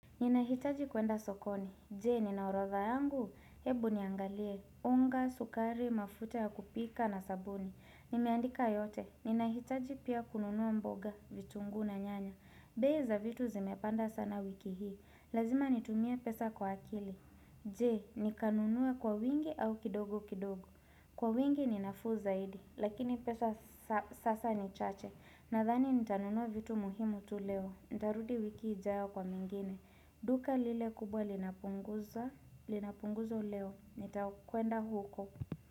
Ninahitaji kuenda sokoni, jee ninaoradha yangu, hebu niangalie, unga, sukari, mafuta ya kupika na sabuni, nimeandika yote, ninahitaji pia kununuwa mboga, vitungu na nyanya, bei za vitu zimepanda sana wiki hii, lazima nitumia pesa kwa akili, jee nikanunue kwa wingi au kidogo kidogo, kwa wingi ninafu zaidi, lakini pesa sasa ni chache, na dhani nitanunuwa vitu muhimu tuleo, ndarudi wiki ijao kwa mingine, Duka lile kubwa linapunguzo leo Nitakwenda huko.